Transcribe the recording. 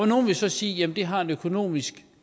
nogle vil så sige at det har en økonomisk